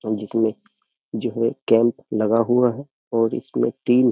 जिसमे जो है कैम्प लगा हुआ है और इसमे इस में तीन --